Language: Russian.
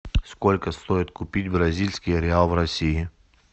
сколько стоит купить бразильский реал в россии